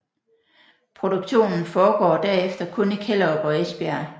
Produktionen foregår derefter kun i Kjellerup og Esbjerg